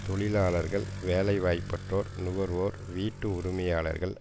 தொழிலாளர்கள் வேலைவாய்ப்பற்றோர் நுகர்வோர் வீட்டு உரிமையாளர்கள்